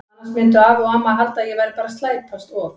Annars myndu afi og amma halda að ég væri bara að slæpast og.